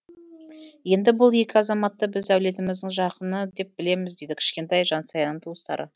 енді бұл екі азаматты біз әулетіміздің жақыны деп білеміз дейді кішкентай жансаяның туыстары